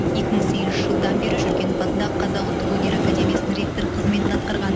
екі мың сегізінші жылдан бері жүргенов атындағы қазақ ұлттық өнер академиясының ректор қызметін атқарған